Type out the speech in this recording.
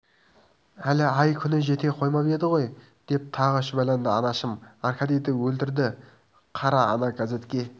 әлі ай-күні жете қоймап еді ғой деп тағы шүбәланды анашым аркадийді өлтірді қара ана газетке